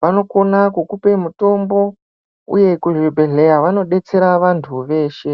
vanokona kukupe mutombo, uye kuzvibhedhleya vanodetsera vantu veshe.